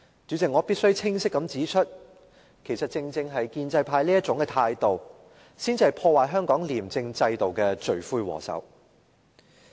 主席，我必須清晰指出，其實正正是建制派這種態度，才是破壞香港廉政制度的罪魁禍首。